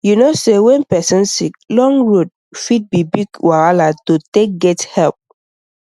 you know say when person sick long road road fit be big wahala to take get help